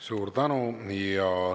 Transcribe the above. Suur tänu!